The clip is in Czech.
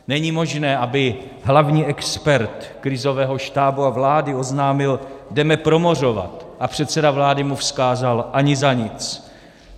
Není možné, aby hlavní expert krizového štábu a vlády oznámil "jdeme promořovat", a předseda vlády mu vzkázal - "ani za nic".